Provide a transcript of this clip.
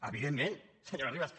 evidentment senyora ribas